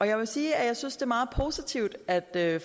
jeg vil sige at jeg synes det er meget positivt at